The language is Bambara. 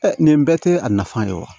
nin bɛɛ tɛ a nafa ye wa